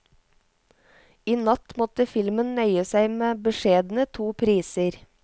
I natt måtte filmen nøye seg med beskjedne to priser.